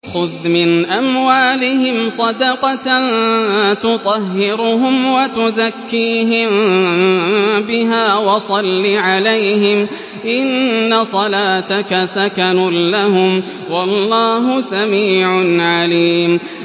خُذْ مِنْ أَمْوَالِهِمْ صَدَقَةً تُطَهِّرُهُمْ وَتُزَكِّيهِم بِهَا وَصَلِّ عَلَيْهِمْ ۖ إِنَّ صَلَاتَكَ سَكَنٌ لَّهُمْ ۗ وَاللَّهُ سَمِيعٌ عَلِيمٌ